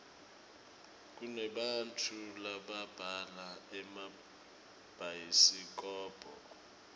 kunebantau lababhala emabhayisikobho